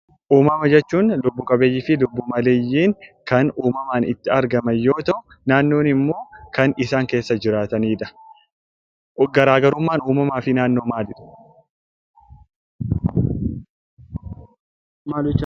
Uumama Jechuun; Lubbu Qabeeyyii fi Lubbu Maleeyyiin Kan uumamaan itti argaman yoo ta'u, naannoo immoo Kan isaan keessa jiraatanidha. Garaagarumman uumamaafi naannoo maali?